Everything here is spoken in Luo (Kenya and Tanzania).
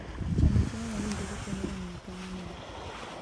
Chamo chiemo mowinjore konyo e miyo tong' onyuol.